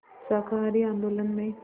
शाकाहारी आंदोलन में